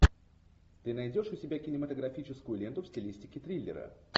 ты найдешь у себя кинематографическую ленту в стилистике триллера